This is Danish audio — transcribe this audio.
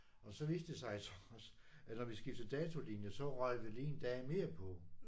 Og så viste det så også at når vi skiftede datolinje så røg vi lige en dag mere på